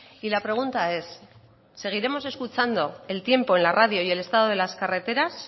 y la pregunta es seguiremos escuchando el tiempo en la radio y el estado de las carreteras